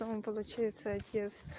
да он получается отец